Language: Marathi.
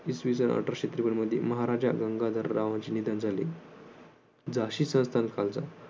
इसवीसन अठराशे त्रेपन्न मध्ये महाराजा गंगाधररावांचे निधन झाले. झाशी संस्थान